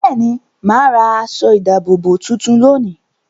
Bẹ́ẹ̀ ni, mà á ra aṣọ-ìdáàbòbò tuntun lónìí.